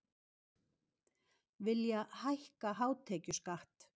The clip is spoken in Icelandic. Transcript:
Vilja hækka hátekjuskatt